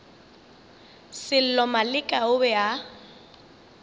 sello maleka o be a